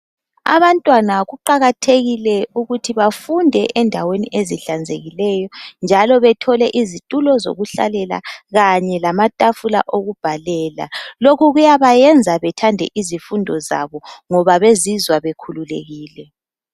Abantwana kuqakathekile ukuthi bafunde endaweni ezihlanzekileyo njalo bethole izitulo zokuhlalela kanye lamatafula okubhalela. Lokhu kuyabayenza bethande izifundo zabo ngoba bezizwa bekhululekile.